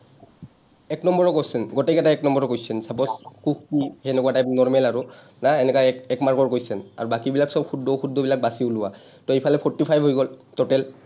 এক নম্বৰৰ question গোটেইকেইটা এক নম্বৰৰ question, suppose হেনেকুৱা type normal আৰু, প্ৰায় হেনেকুৱা এক, এক mark ৰ question আৰু বাকীবিলাক চব শুদ্ধ-অশুদ্ধবিলাক বাছি উলিওৱা। to এইফালে forty five হৈ গ’ল total